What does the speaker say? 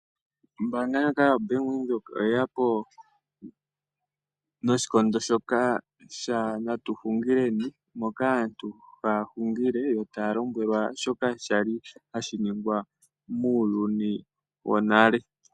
Ombaanga ndyoka yoBank Windhoek, oyeyapo noshikondo shoka shaNatu Xungileni, moka aantu haya hungile, yo taya lomwelwa shoka shali hashi ningwa muuyuni wonale.